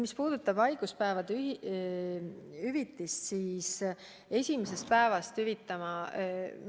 Mis puudutab haiguspäevade hüvitist, siis esimesest päevast hüvitama ei saa hakata.